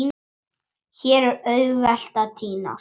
Hér er auðvelt að týnast.